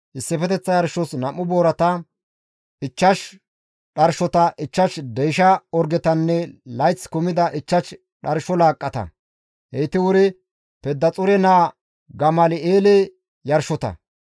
issifeteththa yarshos 2 boorata, 5 dharshota, 5 deysha orgetanne layth kumida 5 dharsho laaqqata; heyti wuri Pedaxuure naa Gamal7eele yarshota.